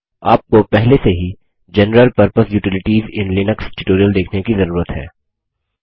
आपको पहले से ही general purpose utilities in Linux tutorial देखने की जरूरत है